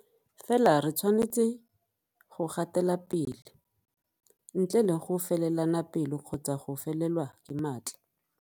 Fela re tshwanetse go gatelapele, ntle le go felelana pelo kgotsa go felelwa ke matla.